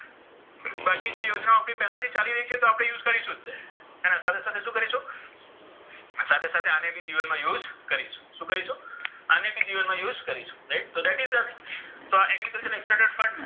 જે યોજનાઓ આપણી પહેલાથી ચાલી રહી છે એ તો આપણે use કરીશું જ. એના સાથે સાથે શું કરીશું? સાથે સાથે આને બી જીવનમાં use કરીશું. શું કરીશું? આને પણ જીવનમાં use કરીશું. right તો that is તો આ agriculture excited fund